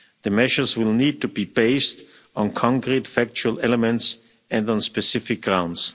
The measures will need to be based on concrete factual elements and on specific grounds.